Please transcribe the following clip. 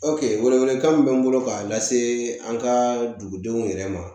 wele welekan min bɛ n bolo k'a lase an ka dugudenw yɛrɛ ma